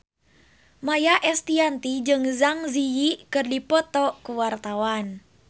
Maia Estianty jeung Zang Zi Yi keur dipoto ku wartawan